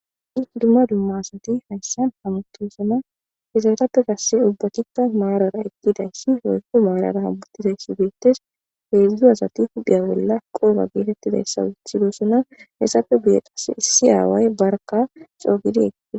dumma dumma asati hayssan hamutosona hesentappe gasse ubbatika maarara eqqidayssi woykko maarara hamutizays beettes hedzdzu asati huphiya bolla qoba geetettidayssa wuthidosona hessape guye qasse issi aaway barka coo gidi eqqides